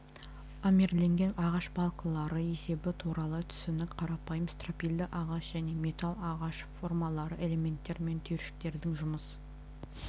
армирленген ағаш балкалары есебі туралы түсінік қарапайым стропильді ағаш және металл ағаш формалары элементтер мен түйіршіктердің жұмыс